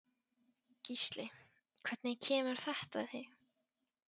Gísli: Hvernig kemur þetta við þig?